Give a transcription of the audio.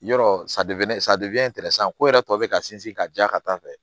Yɔrɔ san ko yɛrɛ tɔ bɛ ka sinsin ka diya ka taa fɛ